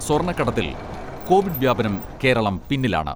സ്വർണ്ണക്കടത്തിൽ Covid വ്യാപനം കേരളം പിന്നിലാണ്.